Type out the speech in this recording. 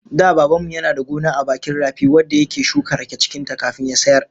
Da Baban mu yana da gona a bakin rafi wadda yake shuka rake cikin ta kafin ya sayar